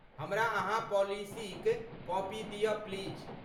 हमरा अहाँ पॉलिसीक कॉपी दिय प्लीज।